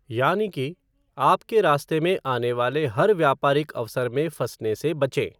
यानि कि, आपके रास्ते आने वाले हर व्यापारिक अवसर में फंसने से बचें।